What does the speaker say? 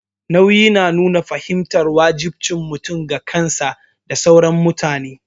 Nauyi yana nuna fahimtar wajibcin mutum ga kansa da sauran mutane.